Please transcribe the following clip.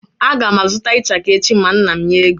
Aga m a zụta ichaka echi ma nna m nye ego.